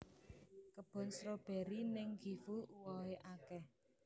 Kebon stroberi ning Gifu uwohe akeh